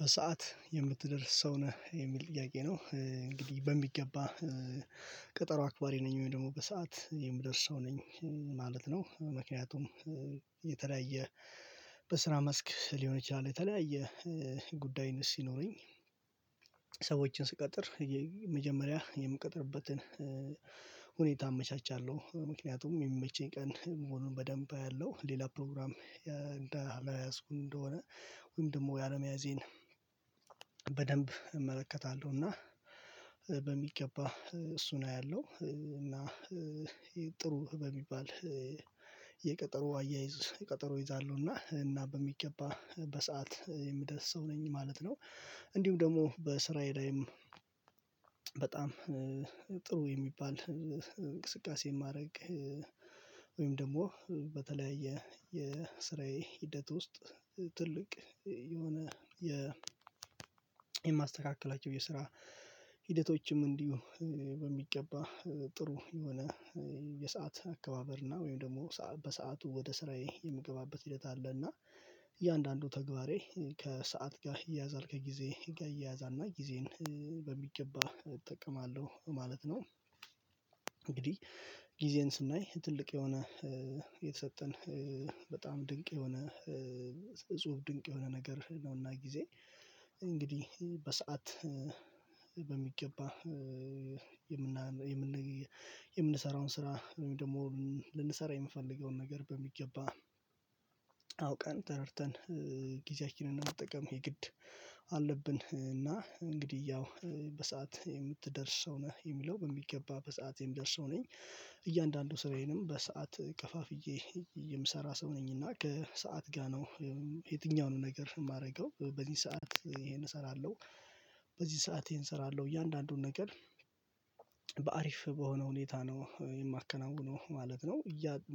በሰአት የምትደርስ ሰው ነህ የሚል ጥያቄ ነው? እንግዲህ በሚገባ ቀጠሮ አክባሪ ነኝ ወይ ደግሞ በሰአት የምደርስ ሰው ነኝ ማለት ነው። ምክንያቱም የተለያየ በስራ መስክ ሊሆን ይችላል። የተለያየ ጉዳይም ሲኖሩኝ ሰዎችን ስቀጥር የመጀመሪያ የምቀጥርበትን ሁኔታ አመቻቻለሁ ምክንያቱም የሚመቸኝ ቀን መሆኑን በደንብ አያለው። ሌላ ፕሮግራም እንደ አልያዝኩ እንደሆነ ወይም ደግሞ ያለመያዜን በደንብ እመለከታለሁ። እና በሚገባ እሱን አያለሁ እና ጥሩ በሚባል የቀጠሮ አያይዝ ቀጠሮ ይዛለሁና እና በሚገባ በሰአት የምደርስ ሰው ነኝ ማለት ነው። እንዲሁም ደግሞ በስራዬ ላይም በጣም ጥሩ የሚባል እንቅስቃሴ ማድረግ ወይም ደግሞ በተለያየ የስራዬ ሂደት ውስጥ ትልቅ የሆነ የ የማስተካከላቸው የስራ ሂደቶችም እንዲሁ በሚገባ ጥሩ የሆነ የሰዓት አከባበር እና ወይም ደግሞ በሰአቱ ወደ ስራዬ የምገባበት ሂደት አለ። እና እያንዳንዱ ተግባሬ ከሰአት ጋር ይያዛል ከጊዜ ጋር ይያያዛልና ጊዜን በሚገባ እጠቀማለሁ ማለት ነው። እንግዲህ ጊዜን ስናይ ትልቅ የሆነ የተሰጠን በጣም ድንቅ የሆነ እጹብ ድንቅ የሆነ ነገር ነውና። ጊዜ እንግዲህ በሰአት በሚገባ የምን የምንሰራውን ስራ ደግሞ ልንሰራ የምፈልገውን ነገር በሚገባ አውቀን ተረድተን ጊዜያችንን መጠቀም የ ግድ አለብን። እና እንግዲህ ያው በሰአት የምትደርስ ሰው ነህ የሚለው በሚገባ በሰአት የምደርስ ሰው ነኝ። እያንዳንዱ ስራዬንም በሰአት ከፋፍዬ የምሰራ ሰው ነኝና ከሰአት ጋር ነው የትኛውንም ነገር የማደርገው በዚህ ሰዓት ይሄን እሰራለሁ በዚህ ሰዓት ይሄን እሰራለሁ እያንዳንዱን ነገር በአሪፍ በሆነ ሁኔታ ነው የማከናውነው ማለት ነው።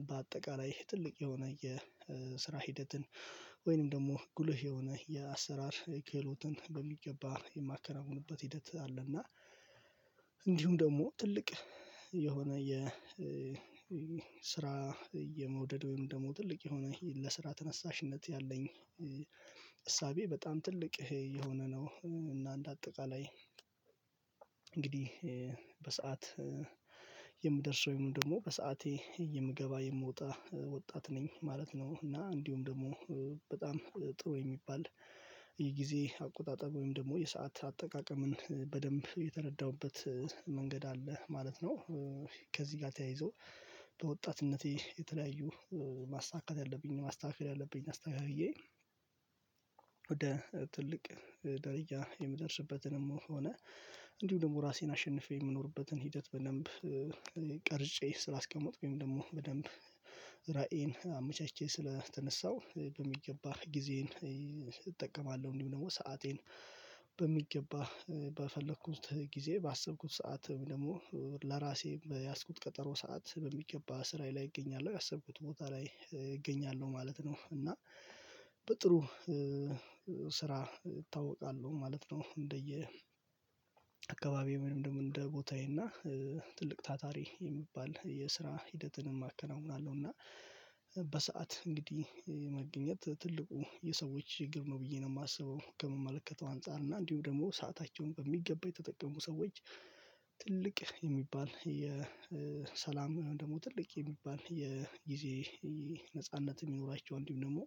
በአጠቃላይ ትልቅ የሆነ የስራ ሂደትን ወይንም ደግሞ ጉልህ የሆነ የአሰራር ክህሎትን በሚገባ የማከናውንበት ሂደት አለና። እና እንዲሁም ደግሞ ትልቅ የሆነ የ ስራ የመውደድ ወይም ደግሞ ትልቅ የሆነ ለስራ ተነሳሽነት ያለኝ እሳቤ በጣም ትልቅ የሆነ ነው። እና እንደ አጠቃላይ እንግዲህ በሰአት የምደርሰው ወይም ደግሞ በሰአቴ የምገባ የምወጣ ወጣት ነኝ ማለት ነው። እና እንዲሁም ደግሞ ጥሩ የሚባል የጊዜ አቆጣጠር ወይም ደግሞ የሰዓት አጠቃቀምን በደንብ የተረዳሁበት መንገድ አለ ማለት ነው። ከዚህ ጋር ተያይዞ በወጣትነቴ የተለያዩ ማሳካት ያለብኝ ማስተካከል ያለብኝ አስተካክዬ ወደ ትልቅ ደረጃ የምደርስበትንም ሆነ እንዲሁ ደግሞ ራሴን አሸንፌ የምኖርበትን ሂደት በደንብ ቀርጬ ስላስቀመጥኩኝ ደግሞ በደንብ ራእዬን አመቻችቼ ስለተነሳሁ በሚገባ ጊዜን እጠቀማለሁ። እንዲሁ ደግሞ ሰአቴን በሚገባ በፈለኩት ጊዜ ባሰብኩት ሰዓት ወይም ደግሞ ለራሴ በያዝኩት ቀጠሮ ሰዓት በሚገባ ስራዬ ላይ እገኛለሁ ባሰብኩት ቦታ ላይ እገኛለሁ ማለት ነው። እና በጥሩ ስራ እታወቃለሁ ማለት ነው። እንደየ አካባቢ ምንም እንደ ቦታዬ እና ትልቅ ታታሪ የሚባል የስራ ሂደትንም አከናውናለሁ። እና በሰአት እንግዲህ መገኘት ትልቁ የሰዎች ችግር ነው ብዬ ነው የማስበው። ከምመለከተው አንፃር እና እንዲሁ ደግሞ ሰአታቸውን በሚገባ የተጠቀሙ ሰዎች ትልቅ የሚባል የሰላም ደግሞ ትልቅ የሚባል የጊዜ ነጻነት የሚኖራቸው እንዲሁም ደግሞ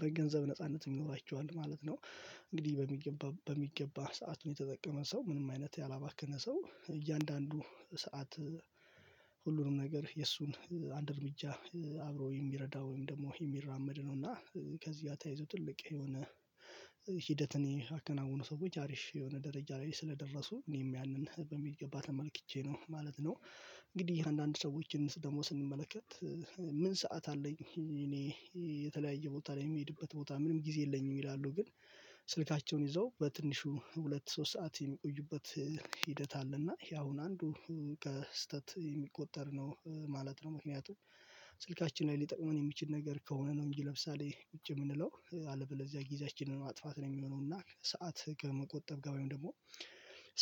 በገንዘብ ነጻነት የሚኖራቸው ማለት ነው። እንግዲህ በሚገባ በሚገባ ሰዓት የተጠቀመ ሰው ምንም አይነት ያላባከነ ሰው እያንዳንዱ ሁሉንም ነገር የእሱን አንድ እርምጃ አብሮ የሚረዳው ወይም ደግሞ የሚራመድ ነው። እና ከዚህ ጋር ተያይዘው ጥልቅ የሆነ ሂደትን ያከናወኑ ሰዎች አሪፍ የሆነ ደረጃ ላይ ስለደረሱ እኔም ያንን በሚገባት ተመልክቼ ነው ማለት ነው። እንግዲህ አንዳንድ ሰዎችን ደግሞ ስንመለከት ምን ሰዓት አለኝ እኔ የተለያየ ቦታ ላይ የሚሄድበት ቦታ ምንም ጊዜ የለኝም ይላሉ። ግን ስልካቸውን ይዘው በትንሹ ሁለት ሶስት ሰዓት የሚቆዩበት ሂደት አለና ይሄ አሁን አንዱ ከስህተት የሚቆጠር ነው ማለት ነው። ምክንያቱም ስልካችን ላይ ሊጠቅመን የሚችል ነገር ከሆነ ነው እንጂ ለምሳሌ ቁጭ የምንለው አለበለዚያ ጊዜያችንን ማጥፋት ነው የሚሆነው። እና ሰዓት ከመቆጠብ ጋር ወይም ደግሞ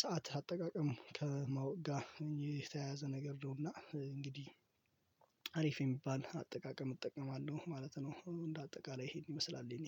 ሰዓት አጠቃቀም ከማወቅ ጋር የተያያዘ ነገር ነውና እንግዲህ አሪፍ የሚባል አጠቃቀም እጠቀማለሁ ማለት ነው። እንደ አጠቃላይ ይሄን ይመስላል የኔ